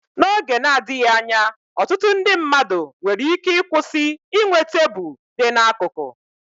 N'oge na-adịghị anya, ọtụtụ mmadụ nwere ike ịkwụsị inwe tebụl dị n'akụkụ.